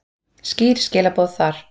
Skýr skilaboð þar.